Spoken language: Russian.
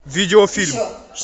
видеофильм